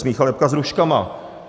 Smíchal jabka s hruškama.